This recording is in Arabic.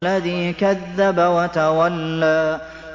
الَّذِي كَذَّبَ وَتَوَلَّىٰ